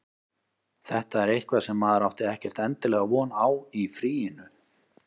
Þetta er eitthvað sem maður átti ekkert endilega von á í fríinu.